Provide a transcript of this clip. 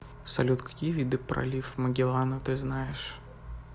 салют какие виды пролив магеллана ты знаешь